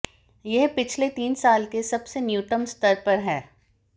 यह पिछले तीन साल के सबसे न्यूनतम स्तर पर है